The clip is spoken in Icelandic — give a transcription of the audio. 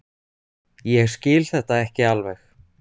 Ég skil þetta ekki alveg.